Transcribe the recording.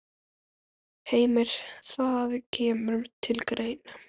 Heimir: Það kemur til greina?